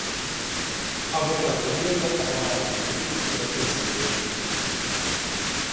аватар легенда об аанге тридцать пятая серия